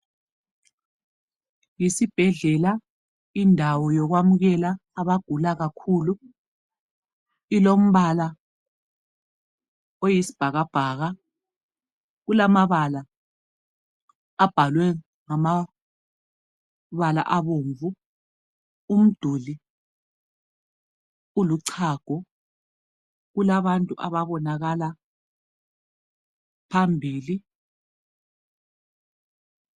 Isibhedlela indawo yokwamukela abantu abagula kakhulu, ilombala oyisibhakabhaka, kulamabala abhalwe ngombala obomvu, umduli uluchago. Kulabantu ababonakala phambili.